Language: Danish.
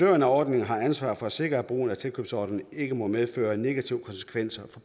af ordningen har ansvar for at sikre at brugen af tilkøbsordningen ikke må medføre negative konsekvenser